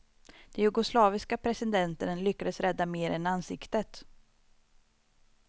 Den jugoslaviske presidenten lyckades rädda mer än ansiktet.